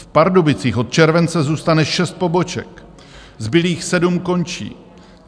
V Pardubicích od července zůstane šest poboček, zbylých sedm končí.